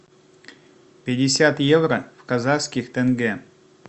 пятьдесят евро в казахских тенге